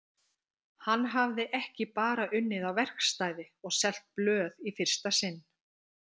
Hann hafði ekki bara unnið á verkstæði og selt blöð í fyrsta sinn.